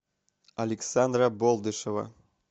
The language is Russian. александра болдышева